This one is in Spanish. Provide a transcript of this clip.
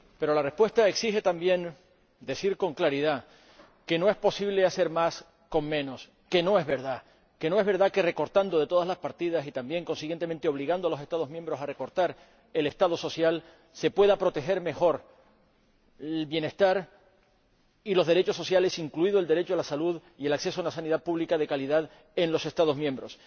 Pero la respuesta exige también decir con claridad que no es posible hacer más con menos, que no es verdad que recortando de todas las partidas y también, consiguientemente, obligando a los Estados miembros a recortar el Estado social se puedan proteger mejor el bienestar y los derechos sociales, incluidos el derecho a la salud y el acceso a una sanidad pública de calidad en los Estados miembros.